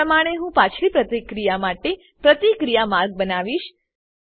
એજ પ્રમાણે હું પાછલી પ્રતિક્રિયા માટે પ્રતિક્રિયા માર્ગ બનાવીશ